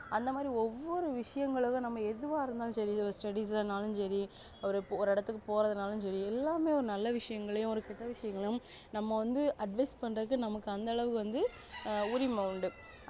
அந்த மாதிரி ஒவ்வொரு விசயங்களுது நம்ம எதுவா இருந்தாலும் சரி சரி ஒரு இடத்துக்கு போறதுன்னாலும் சரி எல்லாமே ஒரு நல்ல விஷயங்களையும் ஒரு கேட்ட விஷயங்களையும் நம்ம வந்து advise பண்றதுக்கு நமக்கு அந்த அளவு வந்து உரிமை உண்டு